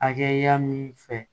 Hakɛya min fɛ